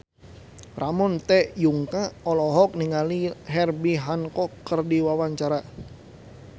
Ramon T. Yungka olohok ningali Herbie Hancock keur diwawancara